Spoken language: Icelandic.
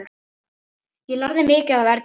Ég lærði mikið af Erlu.